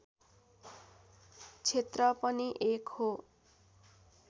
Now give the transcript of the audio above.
क्षेत्र पनि एक हो